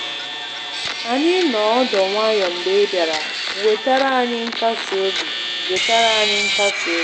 Anyị noọ ọdụ nwayọ mgbe ị bịara, wetara anyị nkasiobi. wetara anyị nkasiobi.